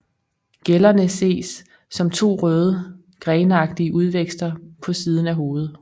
Gællerne ses som to røde grenagtige udvækster på siden af hovedet